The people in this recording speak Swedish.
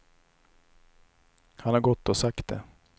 Han har gått och sagt det.